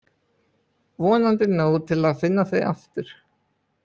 Vonandi nóg til að finna þau aftur.